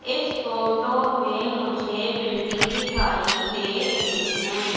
इस फोटो में मुझे बिल्डिंग दिखाई दे रही हैं।